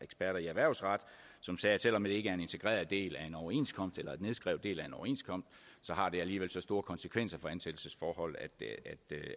erhvervsret som sagde at selv om det ikke er en integreret del af en overenskomst eller en nedskrevet del af en overenskomst har det alligevel så store konsekvenser for ansættelsesforhold